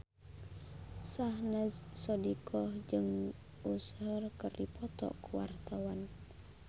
Syahnaz Sadiqah jeung Usher keur dipoto ku wartawan